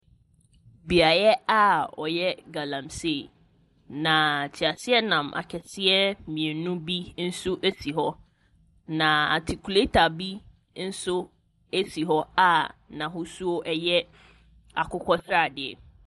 Beaeɛ a wɔyɛ galamsee, na teaseɛnam akɛseɛ mmienu si hɔ. Na atikuleta bi nso si hɔ a n'ahosu yɛ akokɔ sradeɛ.